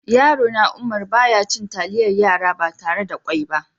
Yaro na Umar, ba ya cin talliyar yara ba tarre da ƙwoi ba.